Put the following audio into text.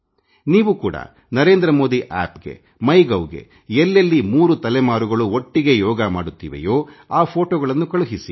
ನೀವು ಕೂಡ ನರೇಂದ್ರ ಮೋದಿ ಆಪ್ ಗೆ ಮೈ ಗೌ ಗೆ ಎಲ್ಲೆಲ್ಲಿ 3 ತಲೆಮಾರುಗಳು ಒಟ್ಟಿಗೇ ಯೋಗ ಮಾಡುತ್ತಿವೆಯೋ ಆ ಫೋಟೊಗಳನ್ನು ಕಳುಹಿಸಿ